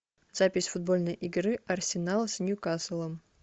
запись футбольной игры арсенал с ньюкаслом